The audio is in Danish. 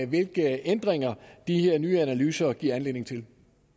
hvilke ændringer de her nye analyser giver anledning til